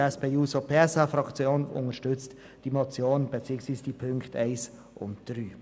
Die SP-JUSO-PSA-Fraktion unterstützt diese Motion beziehungsweise die Punkte 1 und 3.